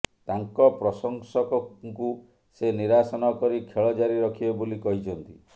ତାଙ୍କ ପ୍ରଶଂସକଙ୍କୁ ସେ ନିରାଶ ନକରି ଖେଳ ଜାରି ରଖିବେ ବୋଲି କହିଛନ୍ତି